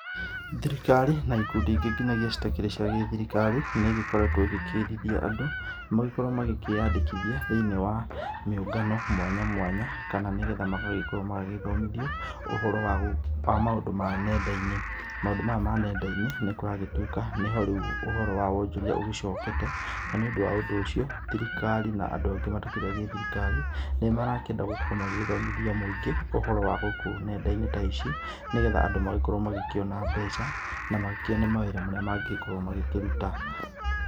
Thirikari na ikundi ingĩ nginagia citakĩrĩ cia gĩthirikari, nĩ igĩkoretwo igĩkĩthithia andũ, makĩyandĩkithie thĩinĩ wa mĩũngano mwanya mwanya. Kana nĩ getha magagĩkorwo magĩthomithio ũhoro wa gũ wa maũndũ ma nenda-inĩ. Maũndũ maya ma nenda-inĩ nĩ kũragĩtuĩka nĩ ho rĩu ũhoro wa wonjoria ũgĩcokete na nĩ ũndũ wa ũndũ ũcio thirikari na andũ angĩ matakĩrĩ a gĩthirikari, nĩ marakĩenda gũkorwo magĩgĩthomithia mũingĩ ũhoro wa gũkũ ng'enda-inĩ ta ici nĩ getha andũ magagĩkorwo makĩona mbeca na makĩone mawĩra marĩa mangĩgĩkorwo makĩruta.